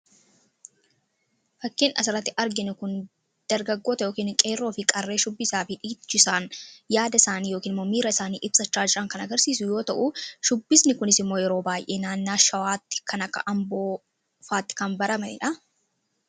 fakkeen asaratti argin kun dargagoota yookin qeeroo fi qarree shubbisaa fi dhiichisaan yaada isaanii yookn mommiira isaanii ibsa chaajraa kan agarsiisu yoo ta'u shubbisni kunis immoo yeroo baay'ee naannaa shawaatti kana amboofaatti kan baramaii dha